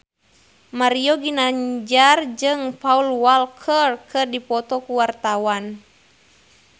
Mario Ginanjar jeung Paul Walker keur dipoto ku wartawan